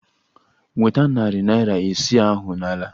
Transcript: Nweta narị naira isii ahụ n'ala!